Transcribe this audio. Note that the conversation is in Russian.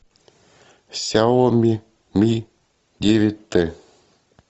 сяоми ми девять т